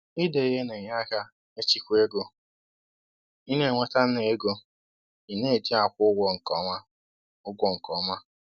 Ide ihe na-enye aka ịchịkwa ego ị na-enweta na ego ị na-eji akwụ ụgwọ nke ọma. ụgwọ nke ọma.